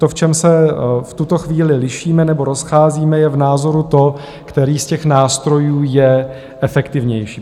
To, v čem se v tuto chvíli lišíme nebo rozcházíme, je v názoru to, který z těch nástrojů je efektivnější.